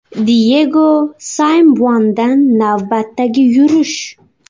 Diyego Simeonedan navbatdagi yurish.